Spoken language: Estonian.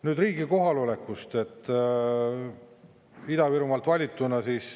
Nüüd riigi kohalolekust Ida-Virumaalt valituna.